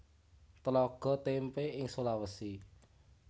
Tlaga Témpé ing Sulawesi